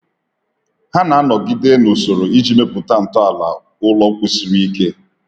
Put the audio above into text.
Ha na-anọgide na usoro iji mepụta ntọala ụlọ kwụsiri ike.